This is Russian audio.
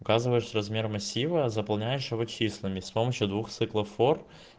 указываешь размер массива заполняющего числами с помощью двух циклов фор